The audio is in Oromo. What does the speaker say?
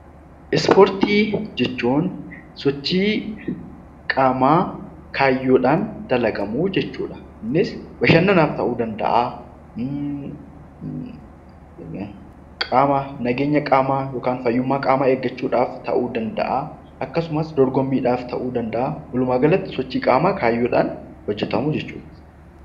Ispportii jechuun sochii qaamaa kaayyoodhaan dalagamu jechuudha. Innis bashannanaaf ta'uu danda'a. Fayyummaa qaamaa eeggachuudhaaf ta'uu danda'a akkasumas dorgommiidhaaf ta'uu danda'a. Walumaa galatti sochii qaamaa kaayyoodhaan hojjatamuu jechuudha.